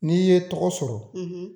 Ni ye tɔgɔ sɔrɔ